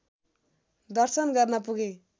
दर्शन गर्न पुगे